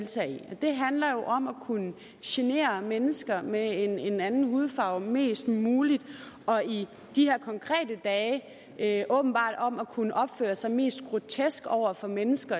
handler jo om at kunne genere mennesker med en anden hudfarve mest muligt og i de her dage åbenbart om at kunne opføre sig mest grotesk over for mennesker